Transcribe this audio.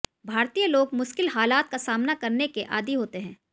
भारतीय लोग मुश्किल हालात का सामाना करने के आदि होते हैं